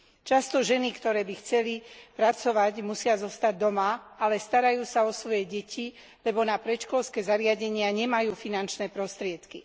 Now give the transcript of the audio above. Často ženy, ktoré by chceli pracovať, musia zostať doma, pričom sa však starajú sa o svoje deti, lebo na predškolské zariadenia nemajú finančné prostriedky.